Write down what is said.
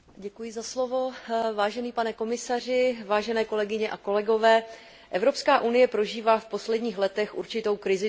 Vážený pane komisaři, vážené kolegyně a kolegové, Evropská unie prožívá v posledních letech určitou krizi důvěry svých občanů.